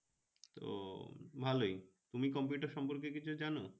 ভালোই, তুমি computer সম্পর্কে কিছু জানো?